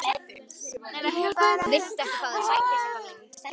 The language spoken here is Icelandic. Ég er bara að hugsa mig um.